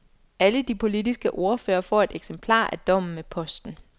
Alle de politiske ordførere får et eksemplar af dommen med posten.